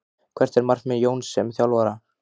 Hvert er markmið Jóns sem þjálfara?